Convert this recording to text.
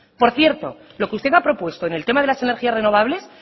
por cierto lo que usted ha propuesto en el tema de las energías renovables